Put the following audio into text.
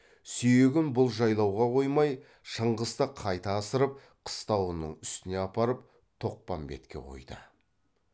сүйегін бұл жайлауға қоймай шыңғысты қайта асырып қыстауының үстіне апарып тоқпамбетке қойды